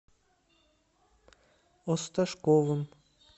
осташковым